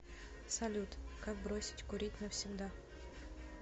салют как бросить курить навсегда